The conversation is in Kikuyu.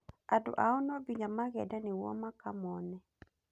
Andũ ao nonginya magende nĩguo makamone.